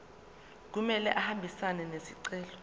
kumele ahambisane nesicelo